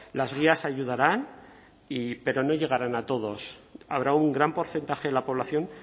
las guías ayudarán pero no llegarán a todos habrá un gran porcentaje de la población